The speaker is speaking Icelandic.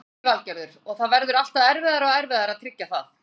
Lillý Valgerður: Og það verður alltaf erfiðara og erfiðara að tryggja það?